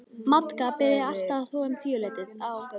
Magda byrjaði alltaf að þvo um tíuleytið á